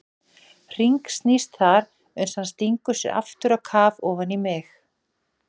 Hringsnýst þar uns hann stingur sér aftur á kaf ofan í mig.